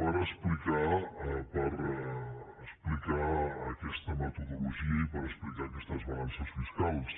per explicar aquesta metodologia i per explicar aquestes balances fiscals